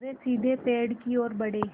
वे सीधे पेड़ की ओर बढ़े